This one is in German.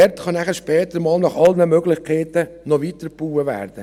Dort kann später einmal nach allen Möglichkeiten weitergebaut werden.